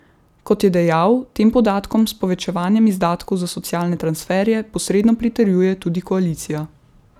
Kot je dejal, tem podatkom s povečevanjem izdatkov za socialne transferje posredno pritrjuje tudi koalicija.